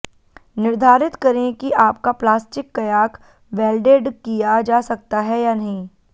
निर्धारित करें कि आपका प्लास्टिक कयाक वेल्डेड किया जा सकता है या नहीं